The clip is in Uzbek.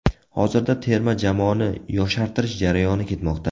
Hozirda terma jamoani yoshartirish jarayoni ketmoqda.